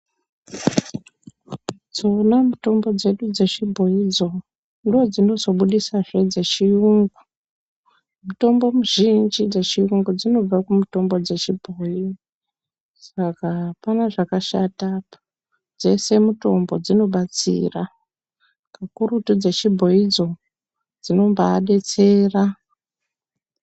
Dzona mutombo dzedu dzechibhoidzo ndodzinozobuditsazve dzechiyungu. Mutombo muzhinji dzechiyungu dzinobva kumutombo dzechibhoi. Saka hapana zvakashata apa dzese mitombo dzinobatsira kakurutu dzechibhoidzo dzinombebetsera.